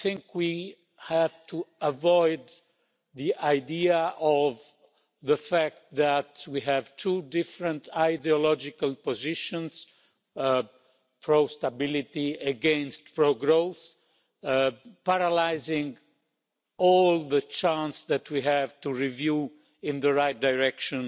We have to avoid the idea of the fact that we have two different ideological positions pro-stability against pro-growth paralysing all the chance that we have to review our rules in the right direction.